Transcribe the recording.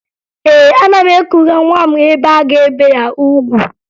Ee, ana m ekuga nwa m ebe a ga-ebe ya ugwu